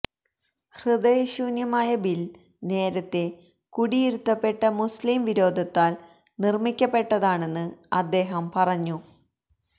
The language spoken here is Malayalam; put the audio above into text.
ഹൃദയശൂന്യമായ ബില് നേരത്തെ കുടിയിരുത്തപ്പെട്ട മുസ്ലിം വിരോധത്താല് നിര്മ്മിക്കപ്പെട്ടതാണെന്ന് അദ്ദേഹം പറഞ്ഞു